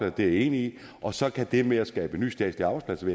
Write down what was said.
er jeg enig i og så kan det med at skabe nye statslige arbejdspladser